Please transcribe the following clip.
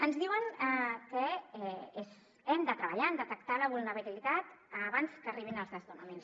ens diuen que hem de treballar en detectar la vulnerabilitat abans que arribin els desnonaments